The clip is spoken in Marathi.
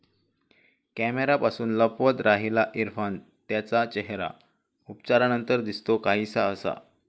कॅमेऱ्यापासून लपवत राहिला इरफान त्याचा चेहरा, उपचारांनंतर दिसतो काहिसा असा...